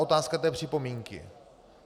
Otázka té připomínky.